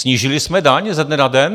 Snížili jsme daň ze dne na den?